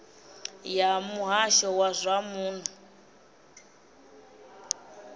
ya muhasho wa zwa muno